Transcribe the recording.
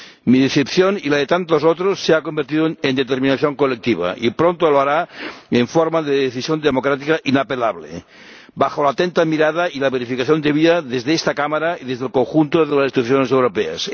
Mi decepción y la de tantos otros se ha convertido en determinación colectiva y pronto lo hará en forma de decisión democrática inapelable, bajo la atenta mirada y la verificación debida desde esta Cámara y desde el conjunto de las instituciones europeas.